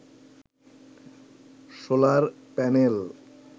solar panel